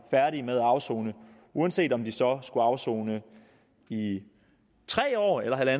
færdige med at afsone uanset om de så skulle afsone i tre år eller